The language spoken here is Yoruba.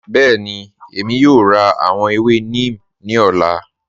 Bẹẹni, Èmi yóò rá àwọn èwè neem ni ọ̀lá